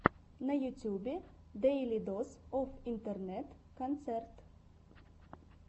на ютьюбе дэйли дос оф интернет концерт